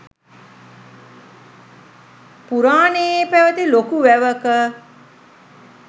පුරාණයේ පැවැති ලොකු වැවක